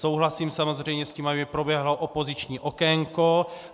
Souhlasím samozřejmě s tím, aby proběhlo opoziční okénko.